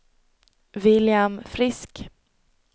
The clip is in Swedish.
William Frisk